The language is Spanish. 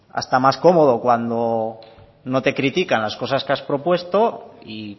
hasta más cómodo cuando no te critican las cosas que has propuesto y